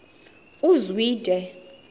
uzwide